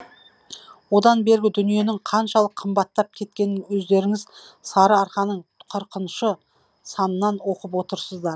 одан бергі дүниенің қаншалық қымбаттап кеткенін өздеріңіз сарыарқаның қырықыншы санынан оқып отырсыздар